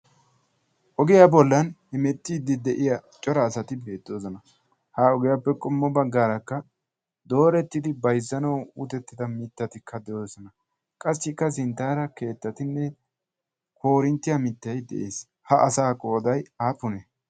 ogiyaa bollan himettiiddi de7iya cora asati beettoosona ha ogiyaappe qommo baggaarakka doorettidi baizzana uutettida mittatikka de7oosona qassikka sinttaara keettatinne korinttiyaa mittai de7ees ha asa qoodai aapune